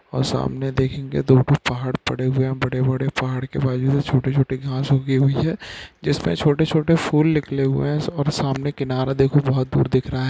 और सामने देखेंगे तो ऊपर पहाड़ पड़े हुए है बड़े बड़े पहाड़ के बाजू में छोटे छोटे घास उगी है जिसमे छोटे छोटे फूल निकले हुए हैं सामने किनारा देखो बहुत दूर दिख रहा है